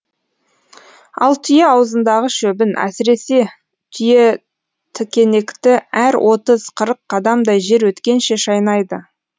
ал түйе аузындағы шөбін әсіресе түйетікенекті әр отыз қырық қадамдай жер өткенше шайнайды